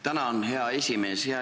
Tänan, hea esimees!